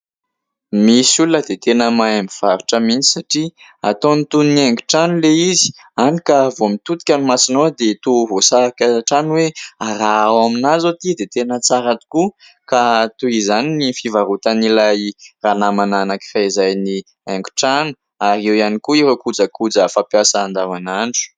Misy olona dia tena mahay mivarotra mihitsy satria ataony toy ny haingo trano ilay izy hany ka vao mitodika ny masonao dia toa voasarika hatrany hoe : raha ao amina izao ity dia tena tsara tokoa ; ka toy izany ny fivarotan'ilay ranamana anankiray izay ny haingo trano ary eo ihany koa ireo kojakoja fampiasa andavanandro.